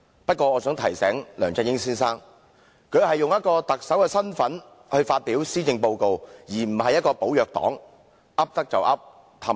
不過，我想提醒梁振英先生，他是以特首的身份來發表施政報告，而不是"寶藥黨"般"噏得就噏"，哄騙別人。